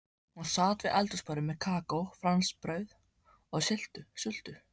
Hún sat við eldhúsborðið með kakó, franskbrauð og sultu.